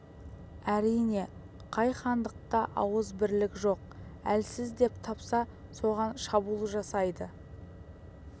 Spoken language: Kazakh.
әрине қай хандықта ауыз бірлік жоқ әлсіз деп тапса соған шабуыл жасайды